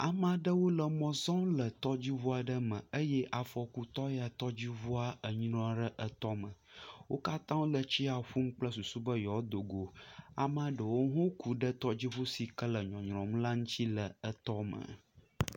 Amea ɖewo le mɔ zɔm le tɔdziŋu aɖe me eye afɔkutɔ ya tɔdziŋua enyrɔ ɖe etɔ me, wo katã wole tsi ya ƒum kple susu be yewoado go, amea ɖewo hã ku ɖe tɔdziŋu si ke le nyɔnyrɔm ŋuti le etɔ me.